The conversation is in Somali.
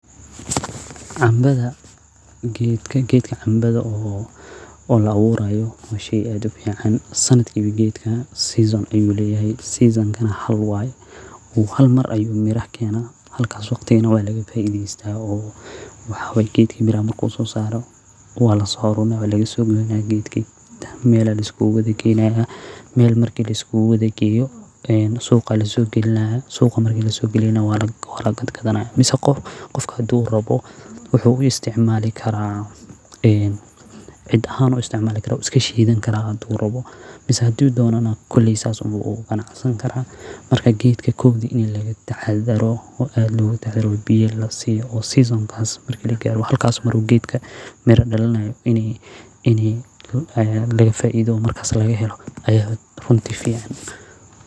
Canbads geedka canbada oo la aburayo waa shey aad u fican sanad walbo geedkan season ayu leyahay season kana hal waye hal mar ayu miraha kena halka wagtigas nah waa laga faidesta meelaya laskugu kenaya suqa aya lakenaya waa lanaya mase hadu rabo cids ayu gesanaya sas ayu u isticmali karaa markas geedkan kowdi ini laga taxadaro oo season ka marki lagaro geedka mira dalinayo ini laga faidho aya runti fican.